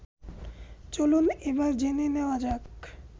চলুন এবার জেনে নেয়া যাক